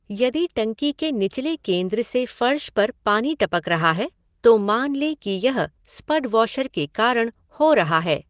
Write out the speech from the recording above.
यदि टंकी के निचले केंद्र से फर्श पर पानी टपक रहा है तो मान लें कि यह स्पड वॉशर के कारण हो रहा है।